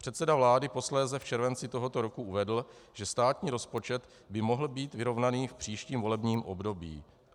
Předseda vlády posléze v červenci tohoto roku uvedl, že státní rozpočet by mohl být vyrovnaný v příštím volebním období.